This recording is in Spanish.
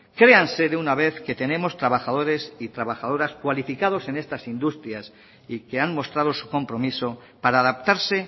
créanse de una vez que tenemos trabajadores y trabajadoras cualificados en estas industrias y que han mostrado su compromiso para adaptarse